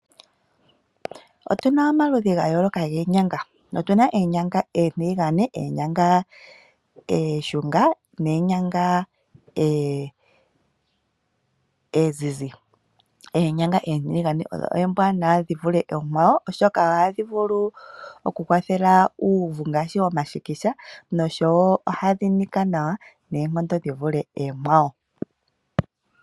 Otuna omaludhi gayooloka geenyanga otuna oonyanga oontiligane , oonshunga noshowo oonzize. Oonyanga oontiligane odho oombwanawa dhi vule oonkwawo, oshoka ohadhi vulu oku kwathela uuvu ngaashi omashikisha noshowo ohadhi nika nawa noonkondo dhi vule oonkwawo.